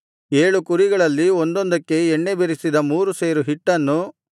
ಏಳು ಕುರಿಗಳಲ್ಲಿ ಒಂದೊಂದಕ್ಕೆ ಎಣ್ಣೆ ಬೆರಸಿದ ಮೂರು ಸೇರು ಹಿಟ್ಟನ್ನು